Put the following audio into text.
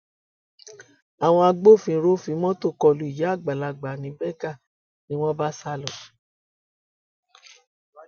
àwọn agbófinró fi mọtò kọlu ìyá àgbàlagbà ní berger ni wọn bá sá lọ